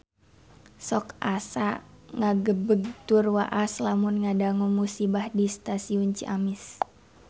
Sok asa ngagebeg tur waas lamun ngadangu musibah di Stasiun Ciamis